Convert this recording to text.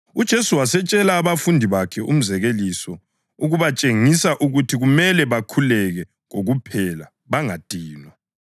UJesu wasetshela abafundi bakhe umzekeliso ukubatshengisa ukuthi kumele bakhuleke kokuphela bangadinwa.